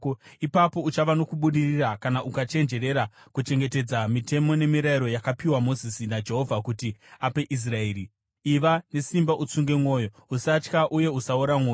Ipapo uchava nokubudirira kana ukachenjerera kuchengetedza mitemo nemirayiro yakapiwa Mozisi naJehovha kuti ape Israeri. Iva nesimba utsunge mwoyo. Usatya uye usaora mwoyo.